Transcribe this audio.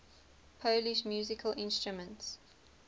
polish musical instruments